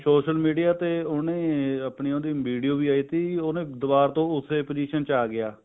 social media ਤੇ ਹੁਣੇ ਆਪਣੀ ਉਹਦੀ video ਵੀ ਆਈ ਟੀ ਉਹਨੇ ਦੁਬਾਰ ਤੋਂ ਉਸੇ position ਚ ਆ ਗਿਆ